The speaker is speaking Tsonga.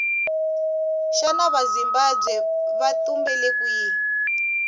shana vazimbabwe vatumbele kwihhi